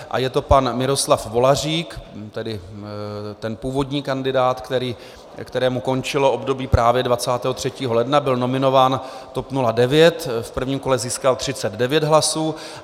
A je to pan Miroslav Volařík, tedy ten původní kandidát, kterému skončilo období právě 23. ledna, byl nominován TOP 09, v prvním kole získal 39 hlasů.